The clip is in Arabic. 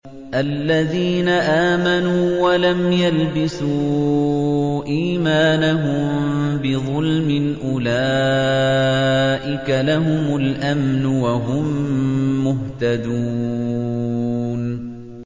الَّذِينَ آمَنُوا وَلَمْ يَلْبِسُوا إِيمَانَهُم بِظُلْمٍ أُولَٰئِكَ لَهُمُ الْأَمْنُ وَهُم مُّهْتَدُونَ